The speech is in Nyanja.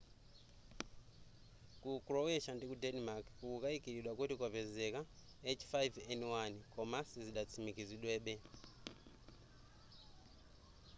ku croatia ndiku denmark kukukayikilidwa kuti kwapezeka h5n1 koma sizidatsimikizidwebe